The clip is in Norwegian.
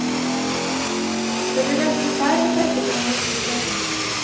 Det blir nesten feil å trekke frem noen titler.